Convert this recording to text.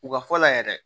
U ka fɔ la yɛrɛ